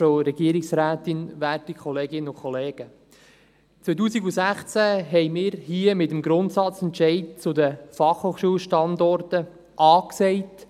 2016 haben wir hier mit dem Grundsatzentscheid zu den Fachhochschulstandorten A gesagt.